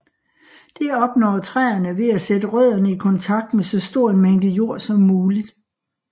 Det opnår træerne ved at sætte rødderne i kontakt med så stor en mængde jord som muligt